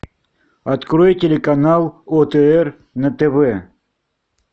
открой телеканал отр на тв